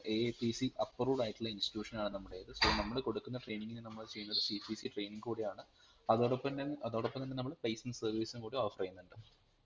AIPCapproved ആയിട്ടുള്ള institution ആണ് നമ്മടേത് so നമ്മൾ കൊടുക്കുന്ന training നമ്മൾ ചെയ്യുന്നത് CPCtraining കൂടിയാണ് അതോടൊപ്പം തൻ അതോടൊപ്പം തന്നെ നമ്മൾ placement service ഉംകൂടി offer ചെയ്യുന്നുണ്ട്